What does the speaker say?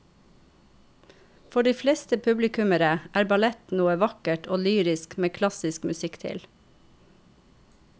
For de fleste publikummere er ballett noe vakkert og lyrisk med klassisk musikk til.